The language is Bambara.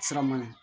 Sira ma ɲi